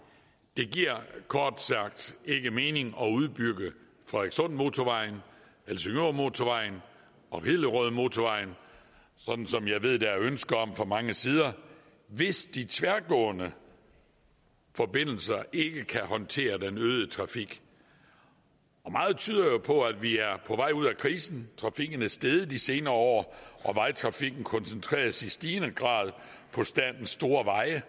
det giver kort sagt ikke mening at udbygge fredrikssundmotorvejen helsingørmotorvejen og hillerødmotorvejen sådan som jeg ved der er ønske om fra mange sider hvis de tværgående forbindelser ikke kan håndtere den øgede trafik meget tyder jo på at vi er på vej ud af krisen trafikken er steget de senere år og vejtrafikken koncentreres i stigende grad på statens store veje det